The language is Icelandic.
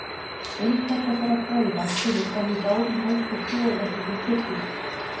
Inntak þessara fræða kemur fram í báðum helstu trúarjátningum kirkjunnar.